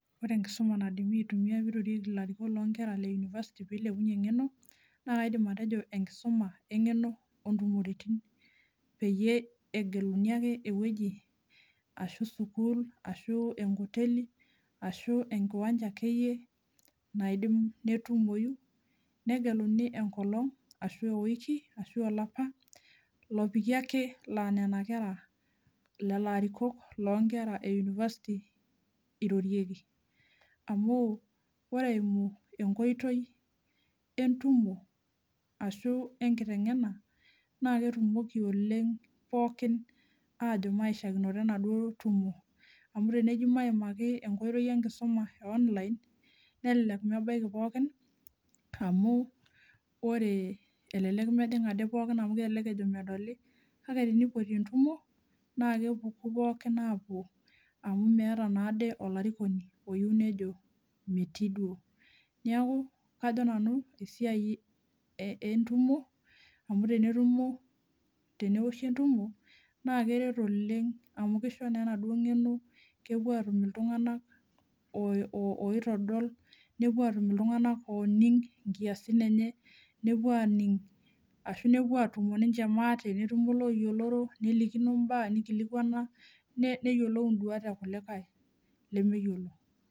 Ore enkisuma naidipa aitumia pirorieki ilarikok loonkera leuniversity pilepunyie engeno naa kaindim enkisuma engeno ontumorititin peyie egeluni ake ewueji ashu sukuul ashu enkoteli ashu enkiwanja akeyie naidim netumoyu , negeluni enkolong ashu eweiki ashu olapa lopiki ake laa nena kera , lelo arikok lonkera euniversity irorieki amu ore eimu enkoitoi entumo ashu enkitengena naaa ketumoki oleng pookin ajo maishakinoto enaduo tumo amu teneji maimaki enkoitoi enkisuma eonline nelelek mebaiki pookin amu ore elelek pejing ade pookin amu kelelek ejo medoli kake tenipoti entumo naa kepuku pookin apuo amu meeta naade olarikoni oyieu nejo metii duo. Niaku kajo nanu esiai entumo amu tenetumo teneoshi entumo naa keret oleng amu kisho naa enaduo ngeno kepuo atum iltunganak oo oitodol , nepuo atum iltunganak oning nkiasin enye nepuo aning ashu nepuo atumo ninche maate, netumo iloyioloro , nelikino imbaa, nikilikwana , neyiolou induat ekulikae lemeyiolo.